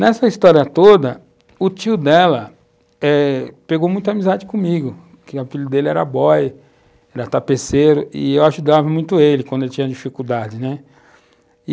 Nessa história toda, o tio dela pegou eh muita amizade comigo, porque o filho dele era boy, era tapeceiro, e eu ajudava muito ele quando ele tinha dificuldades, né, e